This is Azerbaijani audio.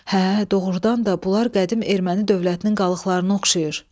Hə, doğurdan da bunlar qədim erməni dövlətinin qalıqlarına oxşayır.